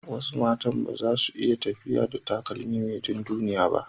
Wasu matan ba su iya tafiya da takalmi mai dunduniya ba.